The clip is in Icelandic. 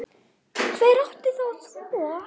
Hver átti þá að þvo?